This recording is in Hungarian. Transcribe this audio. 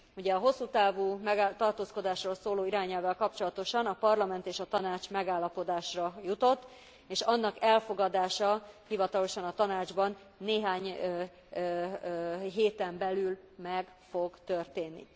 Ugye a hosszú távú tartózkodásról szóló irányelvvel kapcsolatosan a Parlament és a Tanács megállapodásra jutott, és annak elfogadása hivatalosan a Tanácsban néhány héten belül meg fog történni.